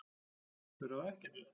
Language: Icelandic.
Þau ráða ekkert við það.